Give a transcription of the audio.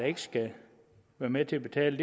ikke skal være med til at betale